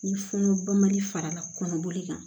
Ni funun mali fara la kɔnɔboli kan